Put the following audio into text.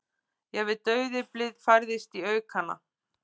Jafnvel dauðyflið færðist í aukana.